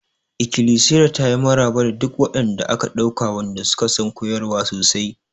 Ikilisiyar ta yi maraba da duk waɗanda aka ɗauka wanda suka san koyarwa sosai.